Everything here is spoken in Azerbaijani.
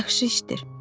Yaxşı işdir.